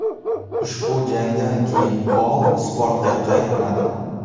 Ushbu jangdan keyin Holl sportga qaytmadi.